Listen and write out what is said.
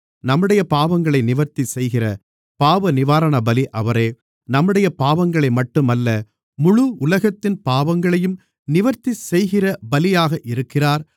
நம்முடைய பாவங்களை நிவர்த்தி செய்கிற பாவநிவாரணபலி அவரே நம்முடைய பாவங்களைமட்டும் அல்ல முழு உலகத்தின் பாவங்களையும் நிவர்த்தி செய்கிற பலியாக இருக்கிறார்